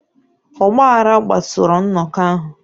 Ọgbaghara kpasuru nnọkọ ahụ.